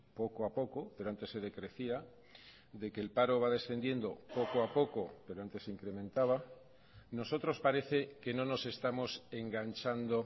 poco a poco pero antes se decrecía de que el paro va descendiendo poco a poco pero antes se incrementaba nosotros parece que no nos estamos enganchando